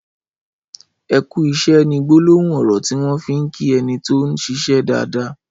''Ẹ kù iṣẹ'' ni gbólóhùn ọrọ tiwọn fi n kí ẹ ni tó n ṣiṣẹ dààdàà